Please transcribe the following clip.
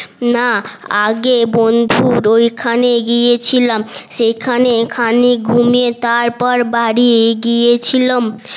না আগে বন্ধুর অইখানে গিয়েছিলাম সেখানে খানিক ঘুমিয়ে তারপর বাড়ি গিয়েছিলাম